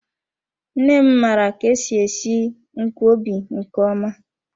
Nne m mara ka-esi esi nkwobi nke ọma.